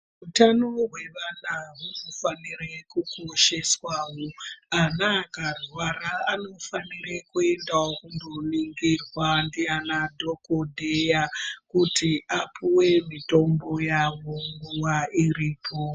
Utano hwevana hunofanire kukosheswawo ana akarwara anofanire kuendawo koningirwa ndianadhokodheya kuti apiwe mitombo yawo nguwa iripo.